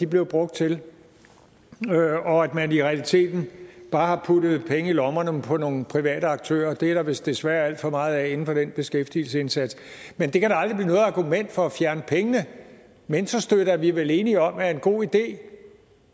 blev brugt til og at man i realiteten bare har puttet penge i lommerne på nogle private aktører det er der vist desværre alt for meget af inden for den beskæftigelsesindsats men det kan da aldrig blive noget argument for at fjerne pengene mentorstøtte er vi vel enige om er en god idé